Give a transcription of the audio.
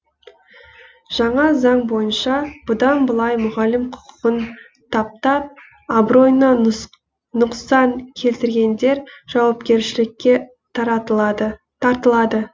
жаңа заң бойынша бұдан былай мұғалім құқығын таптап абыройына нұқсан келтіргендер жауапкершілікке тартылады